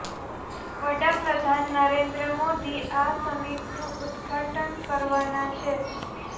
વડા પ્રધાન નરેન્દ્ર મોદી આ સમિટનું ઉદ્ઘાટન કરવાના છે